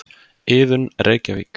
Iðunn, Reykjavík.